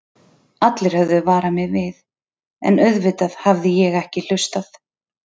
Allir höfðu varað mig við, en auðvitað hafði ég ekki hlustað.